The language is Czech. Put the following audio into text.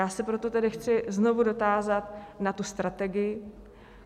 Já se proto tedy chci znovu dotázat na tu strategii.